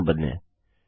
कुछ भी न बदलें